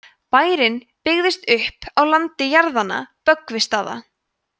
bærinn byggðist upp á landi jarðanna böggvisstaða